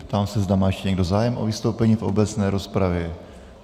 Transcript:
Ptám se, zda má ještě někdo zájem o vystoupení v obecné rozpravě.